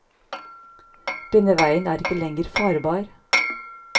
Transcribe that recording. Denne veien er ikke lenger farbar.